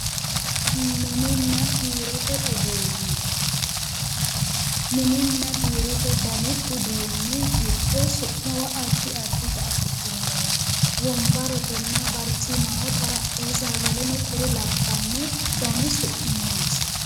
mininna biirote uduunne, mininna biirote dani uduunni giddo su'muwa addi addita afi'dhinoreeti wonbaretenna barcimaho xarapheezzaho woleno kuri labbanno dani su'mi noonsa